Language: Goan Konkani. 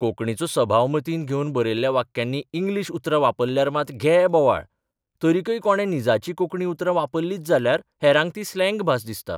कोंकणीचो सभाव मतींत घेवन बरयल्ल्या वाक्यांनी इंग्लिश उतरां वापरल्यार मात घे बोवाळ तरिकय कोणे निजाची कोंकणी उतरां वापरलींच जाल्यार हेरांक ती स्लॅग भास दिसता.